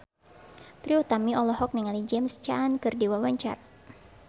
Trie Utami olohok ningali James Caan keur diwawancara